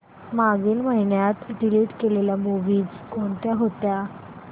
मागील महिन्यात डिलीट केलेल्या मूवीझ कोणत्या होत्या